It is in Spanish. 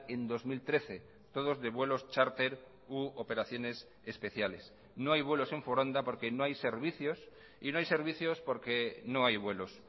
en dos mil trece todos de vuelos charter u operaciones especiales no hay vuelos en foronda porque no hay servicios y no hay servicios porque no hay vuelos